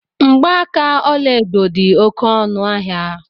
Mgbaaka ọlaedo di oké ọnu ahia